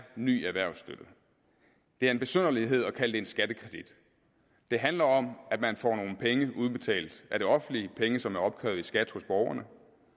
en ny erhvervsstøtte det er en besynderlighed at kalde det en skattekredit det handler om at man får nogle penge udbetalt af det offentlige penge som er opkrævet i skat hos borgerne